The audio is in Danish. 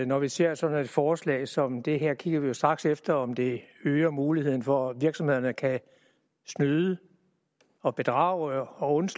når vi ser sådan et forslag som det her kigger vi straks efter om det øger muligheden for at virksomhederne kan snyde og bedrage og